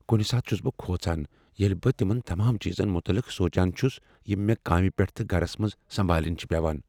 کنہ ساتہٕ چھس بہ کھوژان ییٚلہ بہٕ تمن تمام چیزن متعلق سوچان چھس یم مےٚ کامہ پیٹھ تہٕ گرس منز سمبالٕنۍ چھ پیوان۔